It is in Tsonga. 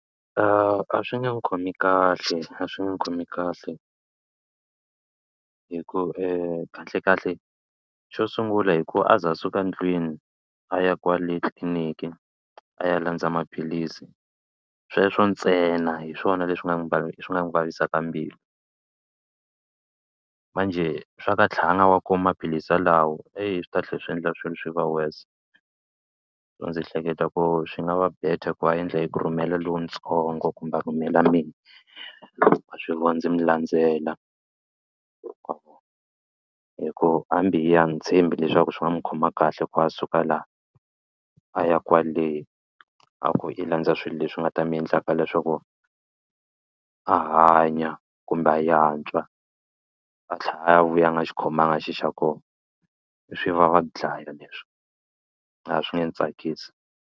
A swi nge n'wi khomi kahle a swi nge n'wi khomi kahle hi ku kahlekahle xo sungula hi ku a za a suka ndlwini a ya kwale tliliniki a ya landza maphilisi sweswo ntsena hi swona leswi nga n'wi swi nga n'wu vavisaka mbilu manjhe swa ku a tlha a nga wa kumi maphilisi yalawa swi ta tlhe swi endla swilo swi va worse. Ndzi hleketa ku swi nga va better ku a endla hi ku rhumela lontsongo kumbe a rhumela mina wa swi vona ndzi mi landzela hi ku hambi hi yena a ndzi tshembi leswaku swi nga n'wi khoma kahle ku va a suka laha a ya kwale a ku i landza swilo leswi nga ta mi endlaka leswaku a hanya kumbe a yantswa a tlhela a vuya a nga xi khomiwanga xilo xa kona swi vava ku dlaya leswi a swi nge ni tsakisi.